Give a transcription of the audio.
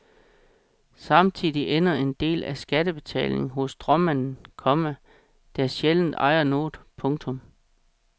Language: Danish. Samtidig ender en del af skattebetalingen hos stråmanden, komma der sjældent ejer noget. punktum